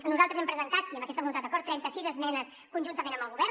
nosaltres hem presentat amb aquesta voluntat acord trenta sis esmenes conjuntament amb el govern